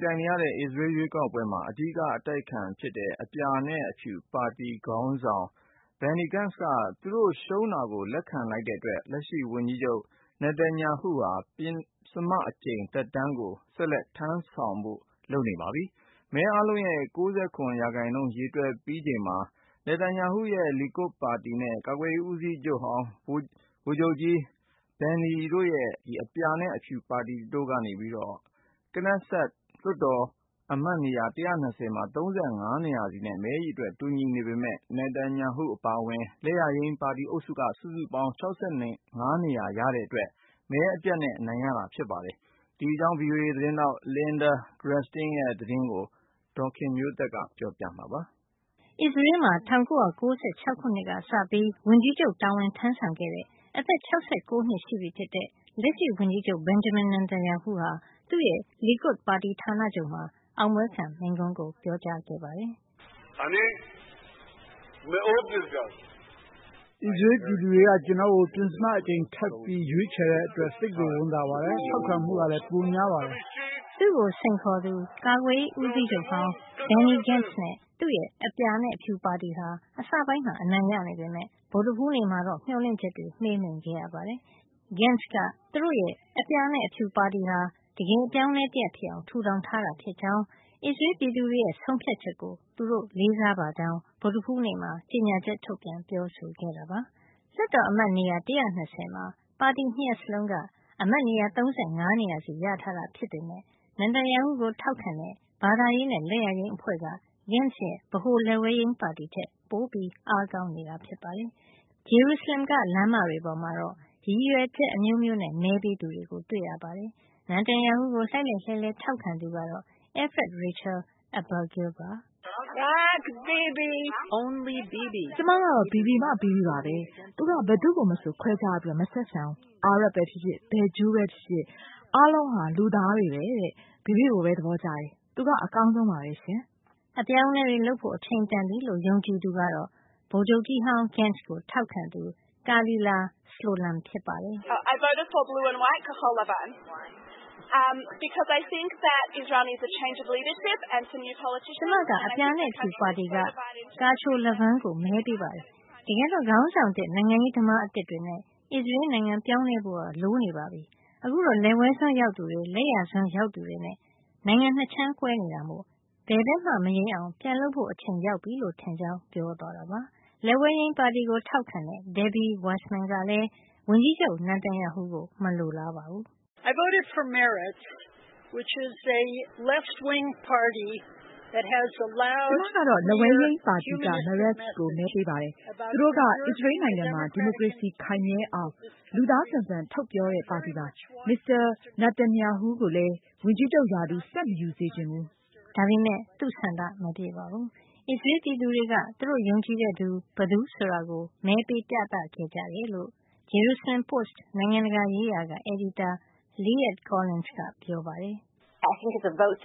ပြိုင်ခဲ့ရတဲ့ အစ္စရေးရွေးကောက်ပွဲမှာ အဓိက အတိုက်အခံဖြစ်တဲ့ အပြာနဲ့အဖြူ (Blue and White) ပါတီ ခေါင်းဆောင် Benny Gantz က သူတို့ရှုံးတာကို လက်ခံလိုက်တဲ့ အတွက် လက်ရှိဝန်ကြီးချုပ် Benjamin Netanyahu ဟာ ပဉ္စမအကြိမ်သက်တမ်းကို ဆက်လက် ထမ်းဆောင်ဖို့ လုပ်နေပါပြီ။ မဲအားလုံးရဲ့ ၉၇ ရာခိုင်နှုန်းကို ရေတွက်ပြီးချိန်မှာ Netanyahu ရဲ့ Likud ပါတီနဲ့ ကာကွယ်ရေး ဦးစီးချုပ်ဟောင်း ဗိုလ်ချုပ်ကြီး Benny Gantz ဦးဆောင်တဲ့ အပြာနဲ့အဖြူ ပါတီတို့က Knesset လွှတ်တော် အမတ်နေရာ ၁၂၀ မှာ ၃၅ နေရာစီနဲ့ မဲအရေအတွက် တူညီနေ ပေမယ့် Netanyahu အပါအဝင် လက်ယာယိမ်း ပါတီအုပ်စုက စုစုပေါင်း ၆၅ နေရာရတဲ့အတွက် မဲအပြတ်နဲ့ အနိုင်ရနေတာဖြစ်ပါတယ်။ ဂျေရုစလင်က VOA သတင်းထောက် Linda Gradstein ရဲ့ သတင်းကို အခြေခံပြီး ဒေါ်ခင်မျိုးသက်က ပြောပြပေးမှာပါ။ အစ္စရေးမှာ ၁၉၉၆ ခုနှစ်ကစပြီး ဝန်ကြီးချုပ် တာဝန်ထမ်းဆောင်ခဲ့တဲ့ အသက် ၆၉ နှစ်ရှိပြီဖြစ်တဲ့ လက်ရှိဝန်ကြီးချုပ် Benjamin Netanyahu ဟာ သူ့ရဲ့ လီကွဒ်ပါတီ ဌာနချုပ်မှာ အောင်ပွဲခံ မိန့်ခွန်း ပြောကြားခဲ့ပါတယ်။ “ အစ္စရေး ပြည်သူတွေက ကျနော့်ကို ပဉ္စမအကြိမ်ထပ်ပြီး ရွေးချယ်ခဲ့တဲ့ အတွက် သိပ်ကိုဝမ်းသာပါတယ်။ ထောက်ခံမှုကလည်း ပိုများပါတယ်။” သူ့ကို စိန်ခေါ်သူ ကာကွယ်ရေး ဦးစီးချုပ်ဟောင်း Benny Gantz နဲ့ သူ့ရဲ့ အပြာနဲ့ အဖြူပါတီဟာ အစပိုင်းမှာ အနိုင်ရနေပေမယ့် ဗုဒ္ဓဟူးနေ့မှာတော့ မျှော်လင့်ချက်တွေ မှေးမှိန်ခဲ့ရပါတယ်။ Gantz က သူတို့ရဲ့ အပြာနဲ့အဖြူ ပါတီဟာ တကယ် အပြောင်းအလဲတရပ် ဖြစ်အောင် ထူထောင်ထားတာ ဖြစ်ကြောင်း အစ္စရေးပြည်သူတွေရဲ့ ဆုံးဖြတ်ချက်ကို သူတို့လေးစားပါကြောင်း ဗုဒ္ဓဟူးနေ့မှာ ကြေညာချက် ထုတ်ပြန် ပြောဆိုခဲ့တာပါ။ လွှတ်တော်အမတ်နေရာ ၁၂၀ မှာ ပါတီ ၂ ရပ်စလုံးက အမတ်နေရာ ၃၅ နေရာစီ ရထားတာ ဖြစ်ပေမယ့် Netanyahu ကို ထောက်ခံတဲ့ ဘာသာရေးနဲ့ လက်ယာယိမ်း အဖွဲ့က Gantz ရဲ့ ဗဟို လက်ဝဲယိမ်း ပါတီထက် အားပိုကောင်းနေတာပါ။ ဂျေရုစလင်က လမ်းမတွေပေါ်မှာတော့ ရည်ရွယ်ချက် အမျိုးမျိုးနဲ့ မဲပေးသူတွေကို တွေ့ရပါတယ်။ Netanyahu ကို လှိုက်လှိုက်လဲှလှဲ ထောက်ခံသူကတော့ Efrat Rachel Abergil ပါ။ “ကျမကတော့ Bibi မှ Bibi ပဲ။ သူက ဘယ်သူ့ကိုမဆို ခွဲခြားပြီး မဆက်ဆံဘူး။ အာရပ်ဖြစ်ဖြစ်၊ ဘယ်ဂျူးပဲဖြစ်ဖြစ်၊ အားလုံးဟာ လူသားတွေပဲတဲ့၊ Bibi ကိုပဲ သဘောကျတယ်။ သူက အကောင်းဆုံးပဲ” အပြောင်းအလဲတွေ လုပ်ဖို့ အချိန်တန်ပြီလို့ ယုံကြည်သူကတော့ ဗိုလ်ချုပ်ကြီးဟောင်း Gantz ကို ထောက်ခံသူ Kalila Slolum ဖြစ်ပါတယ်။ “ကျမက အပြာနဲ့အဖြူပါတီက Kachol Lavan ကိုမဲပေးတယ်။ တကယ်တော့ ခေါင်းဆောင်သစ် နိုင်ငံရေးသမားသစ်တွေနဲ့ အစ္စရေးနိုင်ငံ ပြောင်းလဲဖို့ လိုနေပြီ။ ခုတော့ လက်ဝဲစွန်းရောက်သူတွေ လက်ယာစွန်း ရောက်သူတွေနဲ့ ၂ ခြမ်းကွဲနေတာမို့ ဘယ်ဘက်မှ မယိမ်းအောင် ပြန်လုပ်ဖို့ အချိန်ရောက်နေပြီလို့ ထင်ပါတယ်။” လက်ဝဲယိမ်းပါတီကို ထောက်ခံတဲ့ Debbie Weissman ကလည်း ဝန်ကြီးချုပ် Netanyahu ကို မလိုလားပါဘူး။ “ ကျမကတော့ လက်ဝဲယိမ်းပါတီက Meretz ကိုပဲ မဲပေးတယ်။ သူတို့က အစ္စရေးနိုင်ငံမှာ ဒီမိုကရေစီ ခိုင်မြဲအောင် လူသားဆန်ဆန် ထုတ်ပြော တဲ့ပါတီပါ။ မစ္စတာ နာတန်ရာဟူး ကိုလည်း ဝန်ကြီးချုပ်ရာထူး ဆက်မယူစေချင်ဘူး။” ဒါပေမယ့် သူ့ဆန္ဒ မပြည့်ပါဘူး။ အစ္စရေး ပြည်သူတွေက သူတို့ ယုံကြည်တဲ့သူ ဘယ်သူဆိုတာကို မဲပေး ပြသခဲ့ကြတယ်လို့ IJP ဂျေရူစလင် Post နိုင်ငံတကာရေးရာက အယ်ဒီတာ Liat Collins ကပြောပါတယ်။ “အခုမဲပေးပွဲမှာ ယုံကြ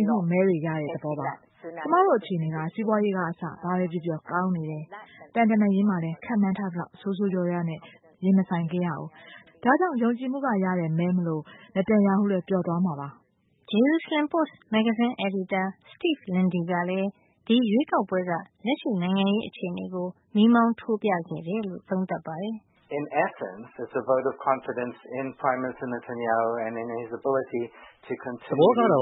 ည်မှုမဲတွေရတဲ့ သဘောပါ။ ကျမတို့ အခြေနေက စီးပွါးရေးကအစ ဘာပဲပြောပြော ကောင်းနေတယ်၊ သံတမန်ရေး မှာလည်း ခန့်မှန်းထားသလောက် ဆိုးဆိုးဝါးဝါးနဲ့ ရင်မဆိုင်ခဲ့ရဘူး။ ဒါကြောင့် ယုံကြည်မှုကရတဲ့ မဲမို့ Netanyahu လည်း ပျော်သွားမှာပါ။” ဂျေရုစလင် Post မဂ္ဂဇင်း အယ်ဒီတာ Steve Linde ကလည်း ဒီရွေးကောက်ပွဲက လက်ရှိနိုင်ငံရေး အခြေနေကို မီးမောင်း ထိုးပြခဲ့တယ်လို့ သုံးသပ်ပါတယ်။ “ သဘောကတော့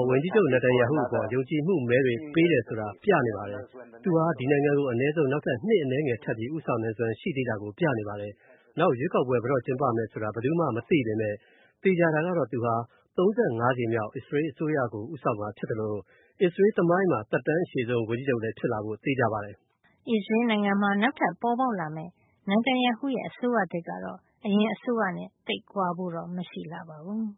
ဝန်ကြီးချုပ် Netanyahu အပေါ် ယုံကြည်မှုမဲတွေ ပေးတယ်ဆိုတာ ပြနေပါတယ်။ သူဟာ ဒီနိုင်ငံကို အနည်းဆုံး နောက်ထပ်နှစ် အနည်းငယ် ထပ်ပြီး ဦးဆောင်နိုင်စွမ်း ရှိသေးတာကို ပြနေပါတယ်။ နောက်ရွေးကောက်ပွဲ - ဘယ်တော့ ကျင်းပမယ်ဆိုတာ ဘယ်သူမှ မသိပေမယ့် သေချာတာကတော့ သူဟာ ၃၅ ကြိမ်မြောက် အစိုးရတရပ်ကို ဦးဆောင်မှာဖြစ်သလို အစ္စရေးသမိုင်းမှာ သက်တမ်းအရှည်ဆုံး ဝန်ကြီးချုပ် ဖြစ်လာဖို့လည်း သေချာပါတယ်။” အစ္စရေးနိုင်ငံမှာ နောက်ထပ်ပေါ်ပေါက်လာမယ့် Netanyahu ရဲ့ အစိုးရသစ်ကတော့ အရင်အစိုးရနဲ့ သိပ်ကွာဖို့တော့ မရှိပါဘူး။